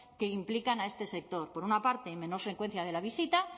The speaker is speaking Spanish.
que implican a este sector por una parte menor frecuencia de la visita